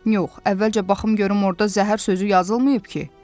Yox, əvvəlcə baxım görüm orda zəhər sözü yazılmayıb ki?